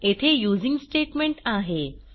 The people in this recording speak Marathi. येथे यूझिंग स्टेटमेंट आहे